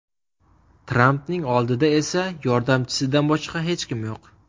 Trampning oldida esa yordamchisidan boshqa hech kim yo‘q.